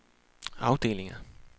afdelinger